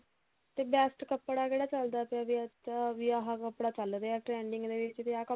ਤੇ best ਕੱਪੜਾ ਕਿਹੜਾ ਚੱਲਦਾ ਪਿਆ ਵੀ ਅੱਜ ਵੀ ਆਹ ਕੱਪੜਾ ਚੱਲ ਰਿਹਾ trending ਦੇ ਵਿੱਚ ਵੀ ਆਹ